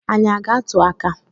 Anyi a ga-atụ aka?